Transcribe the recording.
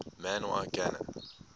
man y gana